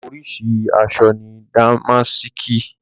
Oríṣi àṣọ ni dàmásìkì.